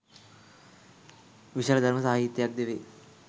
විශාල ධර්ම සාහිත්‍යයක් ද වේ